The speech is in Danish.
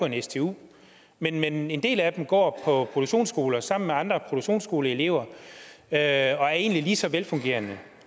en stu men en del af dem går på produktionsskoler sammen med andre produktionsskoleelever og er egentlig ligeså velfungerende